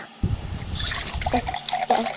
Þetta er þitt hús.